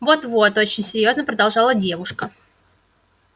вот вот очень серьёзно продолжала девушка